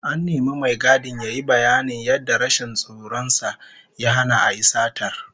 An nemi mai gadin yayi bayanin yadda rashin tsoron sa ya hana a yi satar